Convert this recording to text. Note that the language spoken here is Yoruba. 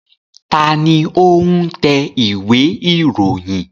Ta ni ó ń tẹ ìwé-ìròyìn?